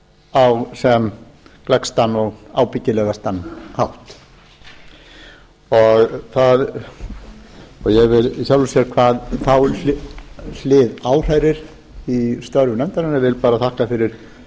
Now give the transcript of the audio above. á sem gleggstan og ábyggilegastan hátt ég vil í sjálfu sér hvað þá hlið áhrærir í störfum nefndarinnar vil bara þakka fyrir